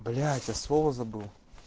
блять я слово забыл